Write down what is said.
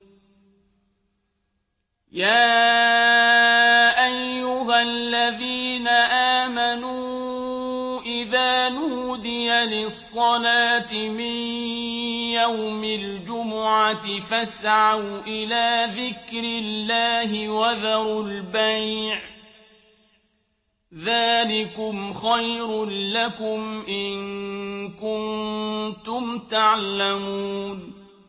يَا أَيُّهَا الَّذِينَ آمَنُوا إِذَا نُودِيَ لِلصَّلَاةِ مِن يَوْمِ الْجُمُعَةِ فَاسْعَوْا إِلَىٰ ذِكْرِ اللَّهِ وَذَرُوا الْبَيْعَ ۚ ذَٰلِكُمْ خَيْرٌ لَّكُمْ إِن كُنتُمْ تَعْلَمُونَ